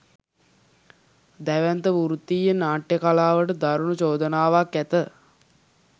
දැවැන්ත වෘත්තීය නාට්‍ය කලාවට දරුණු චෝදනාවක් ඇත